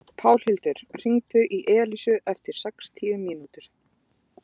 Pálhildur, hringdu í Elísu eftir sextíu mínútur.